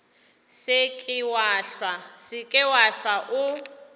se ke wa hlwa o